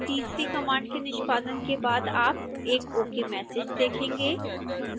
तीसरी कमांड के निष्पादन के बाद आप एक ok मैसेज देखेंगे